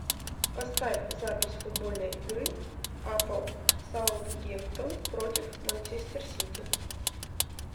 поставь запись футбольной игры апл саут гемптон против манчестер сити